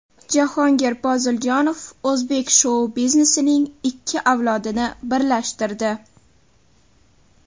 Jahongir Poziljonov o‘zbek shou-biznesining ikki avlodini birlashtirdi.